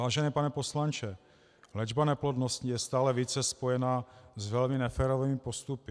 Vážený pane poslanče, léčba neplodnosti je stále více spojena s velmi neférovými postupy.